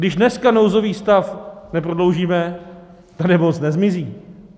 Když dneska nouzový stav neprodloužíme, ta nemoc nezmizí.